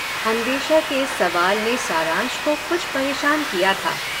अन्वेषा के इस सवाल ने सारंश को कुछ परेशान किया था।